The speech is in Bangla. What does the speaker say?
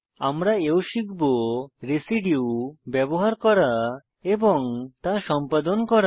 আমরা এও শিখব রেসিডিউ ব্যবহার করা এবং তা সম্পাদন করা